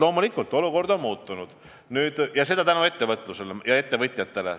Loomulikult, olukord on muutunud ja seda tänu ettevõtlusele ja ettevõtjatele.